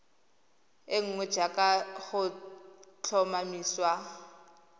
e nngwe jaaka go tlhomamisiwa